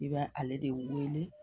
I bɛ ale de wele